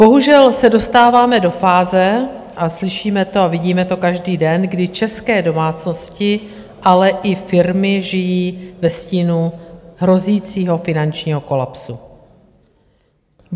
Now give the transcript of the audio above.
Bohužel se dostáváme do fáze, a slyšíme to a vidíme to každý den, kdy české domácnosti, ale i firmy žijí ve stínu hrozícího finančního kolapsu.